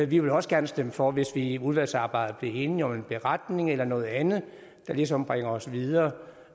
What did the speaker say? vi vil også gerne stemme for hvis vi i udvalgsarbejdet bliver enige om en beretning eller noget andet der ligesom bringer os videre